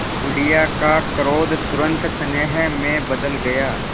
बुढ़िया का क्रोध तुरंत स्नेह में बदल गया